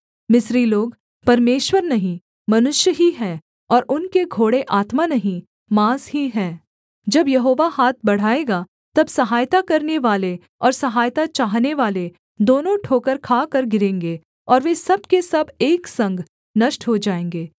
मिस्री लोग परमेश्वर नहीं मनुष्य ही हैं और उनके घोड़े आत्मा नहीं माँस ही हैं जब यहोवा हाथ बढ़ाएगा तब सहायता करनेवाले और सहायता चाहनेवाले दोनों ठोकर खाकर गिरेंगे और वे सब के सब एक संग नष्ट हो जाएँगे